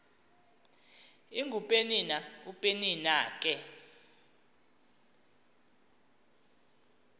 ingupenina upenina ke